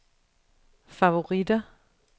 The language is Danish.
favoritter